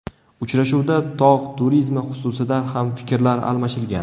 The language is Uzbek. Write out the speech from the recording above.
Uchrashuvda tog‘ turizmi xususida ham fikrlar almashilgan.